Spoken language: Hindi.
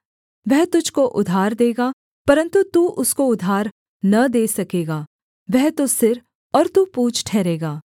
वह तुझको उधार देगा परन्तु तू उसको उधार न दे सकेगा वह तो सिर और तू पूँछ ठहरेगा